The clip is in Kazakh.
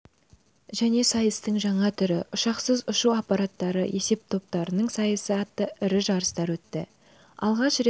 және сайыстың жаңа түрі ұшқышсыз ұшу аппараттары есептоптарының сайысы атты ірі жарыстар өтті алғаш рет